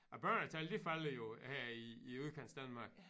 Æ børnetal det falder jo her i i udkantsdanmark